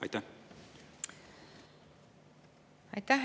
Aitäh!